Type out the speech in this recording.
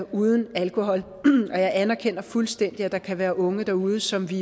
uden alkohol og jeg anerkender fuldstændigt at der kan være unge derude som vi